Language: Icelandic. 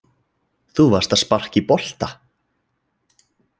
Þú varst að sparka í bolta.